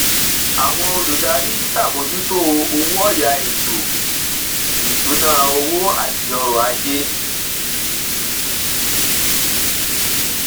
àwọn olùdarí ṣàbòójútó owó ọya ètò ìṣúnná owó àti ọrọ ajé